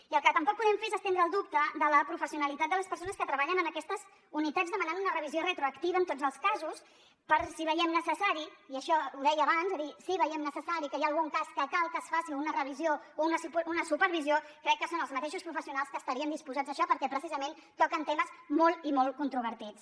i el que tampoc podem fer és estendre el dubte de la professionalitat de les persones que treballen en aquestes unitats demanant una revisió retroactiva en tots els casos però si veiem necessari i això ho deia abans que hi ha algun cas que cal que es faci una revisió o una supervisió crec que són els mateixos professionals que estarien disposats a això perquè precisament toquen temes molt i molt controvertits